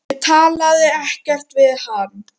Ég talaði ekkert við hann.